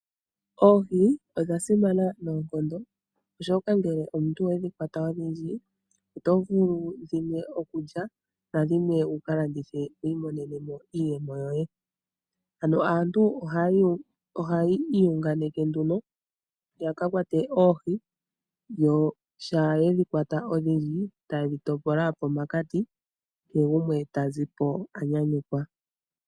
Oohi odha simana noonkondo, oshoka ngele omuntu owe dhi kwata odhindji oto vulu okulya po dhimwe dho dhimwe to ke dhi landitha po wu imonene iiyemo yoye. Aantu ohaya iyunganeke opo ya kwate oohi yo shampa ye dhi kwata odhindji taye dhi topola shi thike pamwe, kehe gumwe ta zi po a nyanyukwa.